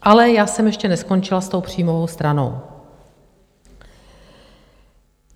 Ale já jsem ještě neskončila s tou příjmovou stranou.